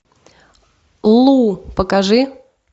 лу покажи